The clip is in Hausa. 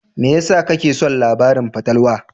Me yasa kake son labaran fatalwa?